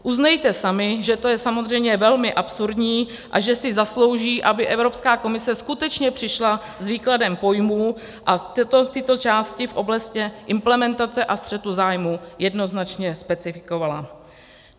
Uznejte sami, že to je samozřejmě velmi absurdní a že si zaslouží, aby Evropská komise skutečně přišla s výkladem pojmů a tyto části v oblasti implementace a střetu zájmů jednoznačně specifikovala.